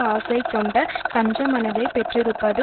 ஆசை கொண்ட கஞ்ச மனத்தை பெற்றிருப்பது